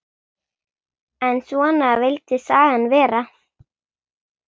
En svona vildi sagan vera